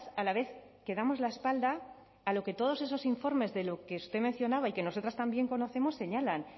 a la vez que damos la espalda a lo que todos esos informes de lo que usted mencionaba y que nosotras también conocemos señalan